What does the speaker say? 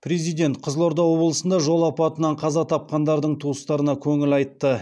президент қызылорда облысында жол апатынан қаза тапқандардың туыстарына көңіл айтты